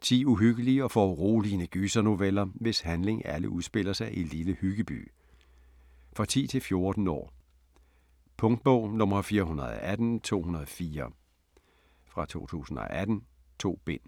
10 uhyggelige og foruroligende gysernoveller, hvis handling alle udspiller sig i Lille Hyggeby. For 10-14 år. Punktbog 418204 2018. 2 bind.